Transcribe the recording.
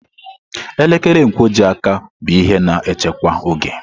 Elekere nkwojiaka bụ ihe na-echekwa oge.